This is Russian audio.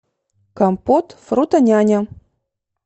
компот фрутоняня